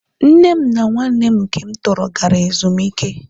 nne m na nwanne m nke m tọrọ gara ezumike